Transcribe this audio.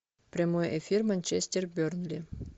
прямой эфир манчестер бернли